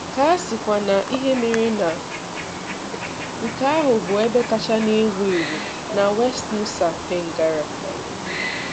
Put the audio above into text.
Ka a sịkwa um ihe mere na nke ahụ bụ ebe kacha um ewu ewu na West Nusa Tenggara. um